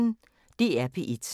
DR P1